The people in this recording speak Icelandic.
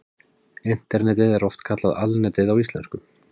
Internetið er oft kallað Alnetið á íslensku.